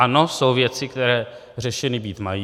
Ano, jsou věci, které řešeny být mají.